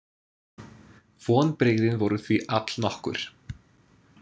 Vonbrigðin voru því allnokkur.